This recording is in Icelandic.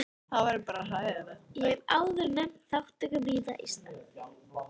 Ég hef áður nefnt þátttöku mína í starfi